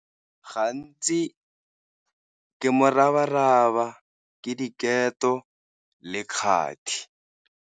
Gantsi ke moraba-raba, ke diketo le kgati.